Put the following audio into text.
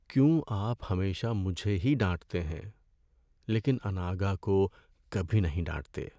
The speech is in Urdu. کیوں آپ ہمیشہ مجھے ہی ڈانٹتے ہیں لیکن اناگھا کو کبھی نہیں ڈانٹتے؟